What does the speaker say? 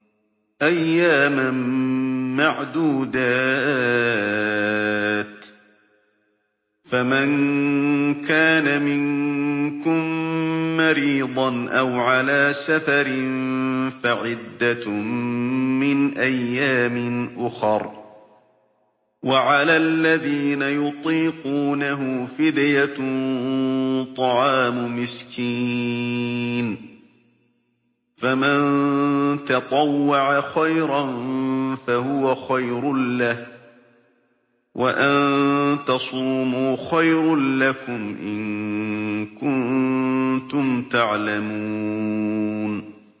أَيَّامًا مَّعْدُودَاتٍ ۚ فَمَن كَانَ مِنكُم مَّرِيضًا أَوْ عَلَىٰ سَفَرٍ فَعِدَّةٌ مِّنْ أَيَّامٍ أُخَرَ ۚ وَعَلَى الَّذِينَ يُطِيقُونَهُ فِدْيَةٌ طَعَامُ مِسْكِينٍ ۖ فَمَن تَطَوَّعَ خَيْرًا فَهُوَ خَيْرٌ لَّهُ ۚ وَأَن تَصُومُوا خَيْرٌ لَّكُمْ ۖ إِن كُنتُمْ تَعْلَمُونَ